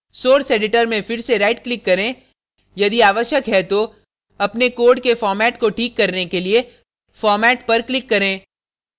source editor में फिर से right click करें यदि आवश्यक है तो अपने code के format को ठीक करने के लिए format पर click करें